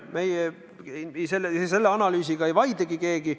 Selle analüüsiga ei vaidlegi keegi.